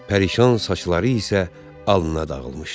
Pərişan saçları isə alnına dağılmışdı.